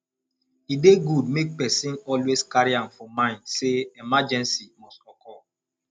e dey good make person always carry am for mind sey emergency must occur